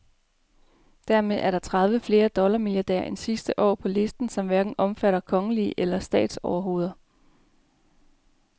Dermed er der tredive flere dollarmilliardærer end sidste år på listen, som hverken omfatter kongelige eller statsoverhoveder.